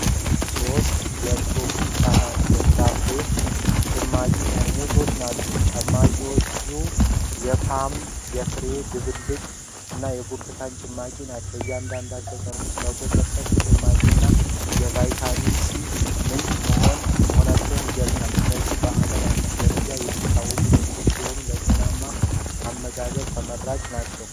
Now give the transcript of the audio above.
ሦስት የ"Tropicana" ፍራፍሬ ጭማቂ ጠርሙሶች ናቸው። ጭማቂዎቹ የፖም፣ የፍራፍሬ ድብልቅ እና የብርቱካን ጭማቂ ናቸው። እያንዳንዱ ጠርሙስ 100% ጭማቂና የቫይታሚን ሲ ምንጭ መሆኑን ይገልጻል። እነዚህ በዓለም አቀፍ ደረጃ የሚታወቁ ምርቶች ሲሆኑ፣ ለጤናማ አመጋገብ ተመራጭ ናቸው።